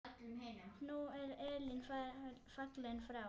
Nú er Elín fallin frá.